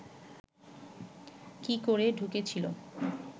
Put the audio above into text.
কি করে ঢুকেছিল